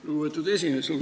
Lugupeetud aseesimees!